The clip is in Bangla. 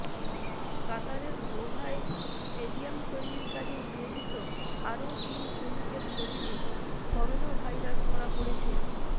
কাতারের দোহায় স্টেডিয়াম তৈরির কাজে নিয়োজিত আরও তিন শ্রমিকের শরীরে করোনাভাইরাস ধরা পড়েছে